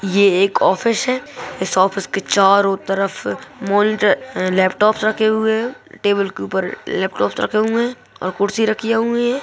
ये एक ऑफिस है इस ऑफिस के चारो तरफ लैपटॉप्स रखे हुए है टेबुल के ऊपर लैपटॉप्स रखे हुए है और कुर्सी रखियाँ हुई है।